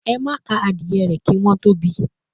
"Ema ka awon adie re ki won to bi,"